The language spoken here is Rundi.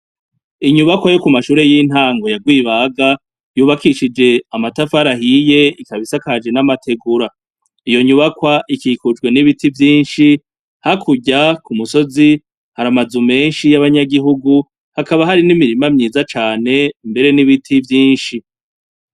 Inyubakwa yo ku mashure y'intango ya Rwibaga, yubakishije amatafari ahiye ikaba isakaje n'amategura. Iyo nyubakwa ikikujwe n'ibiti vyinshi, hakurya ku musozi hari amazu menshi y'abanyagihugu, hakaba hari n'imirima myiza cane, mbere n'ibiti vyinshi.